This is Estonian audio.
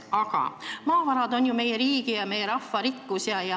Aga maavarad on ju meie riigi ja meie rahva rikkus.